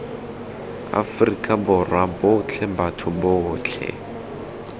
afrika borwa botlhe batho botlhe